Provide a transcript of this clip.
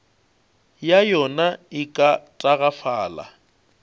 ya yona e ka tagafala